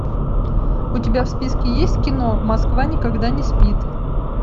у тебя в списке есть кино москва никогда не спит